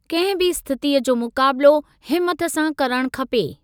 कंहिं बि स्थितीअ जी मुकाबलो हिमथ सां करणु खपे।